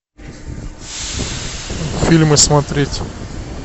фильмы смотреть